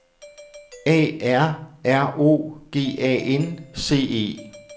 A R R O G A N C E